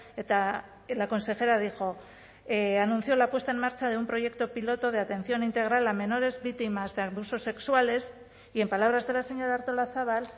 eta la consejera dijo anunció la puesta en marcha de un proyecto piloto de atención integral a menores víctimas de abusos sexuales y en palabras de la señora artolazabal